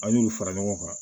An y'olu fara ɲɔgɔn kan